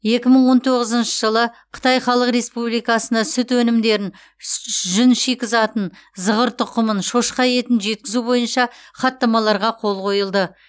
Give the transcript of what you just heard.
екі мың он тоғызыншы жылы қытай халық республикасына сүт өнімдерін сж жүн шикізатын зығыр тұқымын шошқа етін жеткізу бойынша хаттамаларға қол қойылды